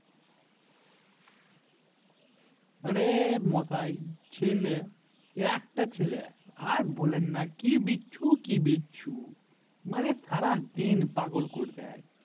আরে মশাই ছেলে একটা ছেলে আর বলেন না কি বিচ্ছু কি বিচ্ছু মানে সারাদিন পাগল করে দেয়